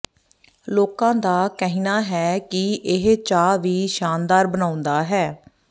ਲੋਕਾਂ ਦਾ ਕਹਿਣਾ ਹੈ ਕਿ ਇਹ ਚਾਹ ਵੀ ਸ਼ਾਨਦਾਰ ਬਣਾਉਂਦਾ ਹੈ